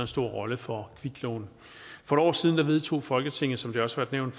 stor rolle for kviklån for et år siden vedtog folketinget som det også blev